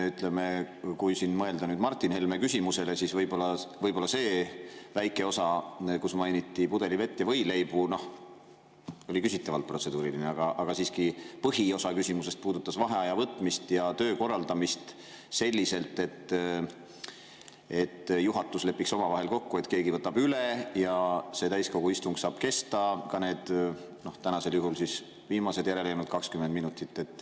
Ütleme, kui mõelda Martin Helme küsimuse peale, siis võib-olla see väike osa, kus mainiti pudelivett ja võileibu, oli küsitavalt protseduuriline, aga siiski põhiosa küsimusest puudutas vaheaja võtmist ja töö korraldamist selliselt, et juhatus lepiks omavahel kokku, et keegi võtab üle, ja see täiskogu istung saab kesta ka need, tänasel juhul viimased, järele jäänud 20 minutit.